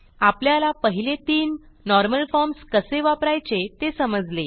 आपल्याला पहिले तीन नॉर्मल फॉर्म्स कसे वापरायचे ते समजले